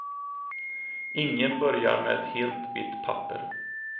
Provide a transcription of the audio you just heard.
Ingen börjar med ett helt vitt papper.